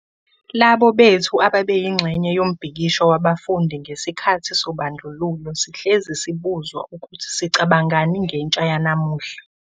Labo bethu ababeyingxenye yombhikisho wabafundi ngesikhathi sobandlululo sihlezi sibuzwa ukuthi sicabangani ngentsha yanamuhla.